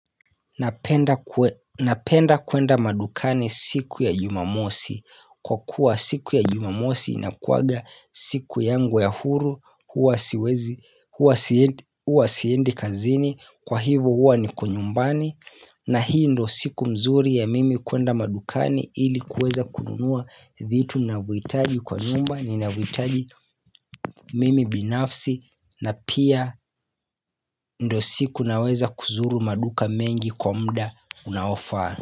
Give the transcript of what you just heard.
Napenda kwenda madukani siku ya jumamosi Kwa kuwa siku ya jumamosi inakuwanga siku yangu ya huru hUwa siendi kazini kwa hivo huwa niko nyumbani na hii ndo siku mzuri ya mimi kwenda madukani ili kuweza kununua vitu ninavyohitaji kwa nyumba ninavyohitaji mimi binafsi na pia ndio siku naweza kuzuru maduka mengi kwa mda unaofaa.